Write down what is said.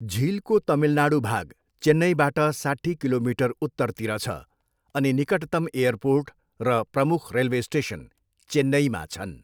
झिलको तमिलनाडू भाग चेन्नईबाट साट्ठी किलोमिटर उत्तरतिर छ अनि निकटतम् एयरपोर्ट र प्रमुख रेलवे स्टेसन चेन्नईमा छन्।